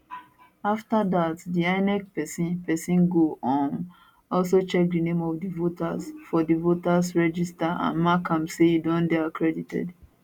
afta dat di inec pesin pesin go um also check di name of di voter for di voters register and mark am say e don dey accredited